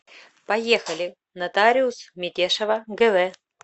поехали нотариус метешова гв